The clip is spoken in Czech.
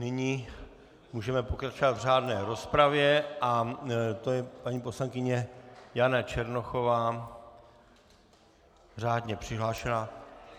Nyní můžeme pokračovat v řádné rozpravě a to je paní poslankyně Jana Černochová, řádně přihlášená.